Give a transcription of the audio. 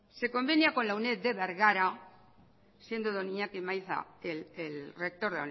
se convenia con la uned de bergara siendo don iñaki maiza el rector